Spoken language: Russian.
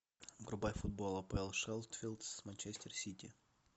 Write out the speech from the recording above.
врубай футбол апл шеффилд с манчестер сити